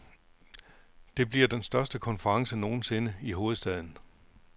Det bliver den største konference nogen sinde i hovedstaden.